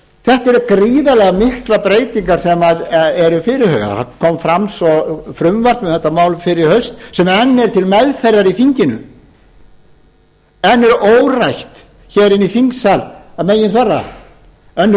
þetta eru gríðarlega miklar breytingar sem eru fyrirhugaðar það kom fram svo frumvarp um þetta mál fyrr í haust sem enn er til meðferðar í þinginu enn er órætt hér inni í þingsal að meginþorra annarrar